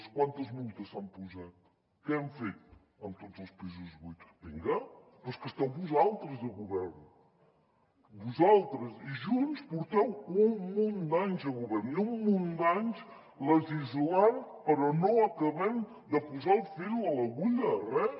quantes multes s’han posat què hem fet amb tots els pisos buits vinga però és que esteu vosaltres al govern vosaltres i junts porteu un munt d’anys de govern i un munt d’anys legislant però no acabem de posar el fil a l’agulla a res